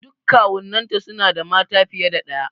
Duk kawunnan ta suna da mata fiye da ɗaya.